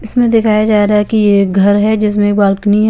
इसमें दिखाया जा रहा हे की ये घर हें जिसमे बालकनी ह--